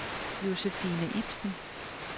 Josefine Ipsen